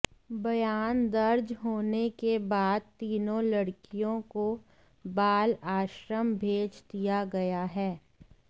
बयान दर्ज होने के बाद तीनों लड़कियों को बाल आश्रम भेज दिया गया है